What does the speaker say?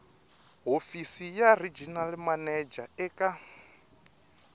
hofisi ya regional manager eka